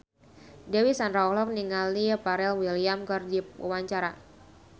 Dewi Sandra olohok ningali Pharrell Williams keur diwawancara